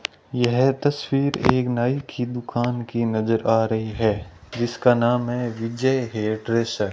यह तस्वीर एक नाई की दुकान की नजर आ रही है जिसका नाम है विजय हेयर ड्रेसर ।